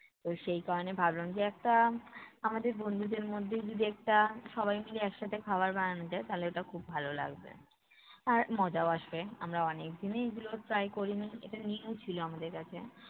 তো সেই কারণের ভাবলাম যে একটা, আমাদের বন্ধুদের মধ্যেই যদি একটা সবাই মিলে একসাথে খাবার বানানো যায় তাহলে ওটা খুব ভালো লাগবে। আর মজাও আসবে। আমরা অনেকদিনই এগুলো try করিনি। এটা new ছিল আমাদের কাছে।